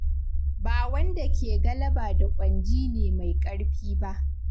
Ba wanda ke galaba da ƙwanji ne mai ƙarfi ba.